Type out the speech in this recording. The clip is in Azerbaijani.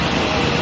Quraşdırılıb.